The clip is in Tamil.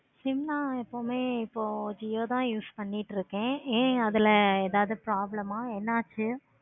ஜும்மா எப்போவுமே இப்போ jio தான் use பண்ணிட்டு இருக்கேன். அது problem ஆஹ் இருந்துச்சி.